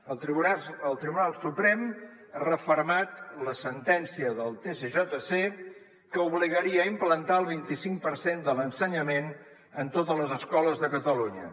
el tribunal suprem ha refermat la sentència del tsjc que obligaria a implantar el vinti cinc per cent de l’ensenyament en totes les escoles de catalunya